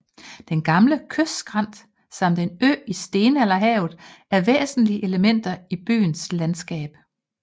Den gamle kystskrænt samt en ø i stenalderhavet er væsentlige elementer i byens landskab